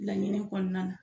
Laɲini kɔnɔna na.